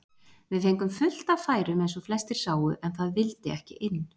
Við fengum fullt af færum eins og flestir sáu en það vildi ekki inn.